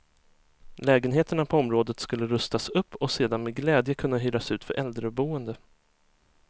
Lägenheterna på området skulle rustas upp och sedan med glädje kunna hyras ut för äldreboende.